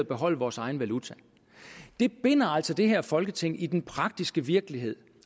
beholde vores egen valuta det binder altså det her folketing i den praktiske virkelighed